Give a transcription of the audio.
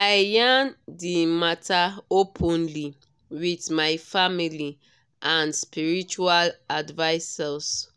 i yarn d matter openly with my family and spiritual advisors.